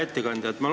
Hea ettekandja!